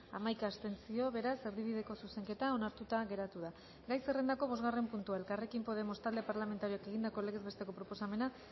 hamaika abstentzio beraz erdibideko zuzenketa onartuta geratu da gai zerrendako bosgarren puntua elkarrekin podemos talde parlamentarioak egindako legez besteko proposamena